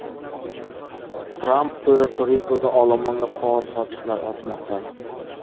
Tramp Puerto-Rikoda olomonga qog‘oz sochiqlar otmoqda .